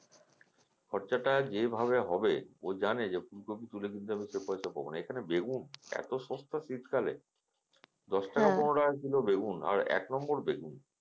খরচাটা যেভাবে হবে ও জানে যে ফুলকপি তুলে তুলতে সে পয়সা পাবো না এখানে বেগুন এতো সস্তা শীতকালে দশ টাকা পনেরো টাকা করে বেগুন